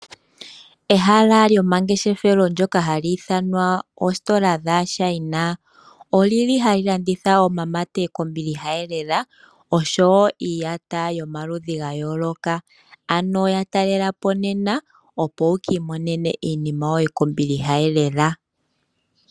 Ehala lyomangeshefelo ndyoka hali ithanwa oositola dhaChina olili hali landitha omamate kombiliha elela niiyata yomaludhi ga yooloka, ya talelapo nena opo wu kimonene iinima yoye kombiliha elela.